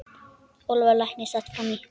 Ólafur læknir sat fram í.